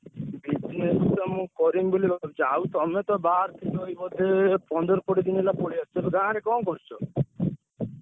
Business ତ ମୁଁ କରିମି ବୋଲି ଯାଉ ତମେ ତ ବାହାରେ ଥିଲ ବୋଧେ।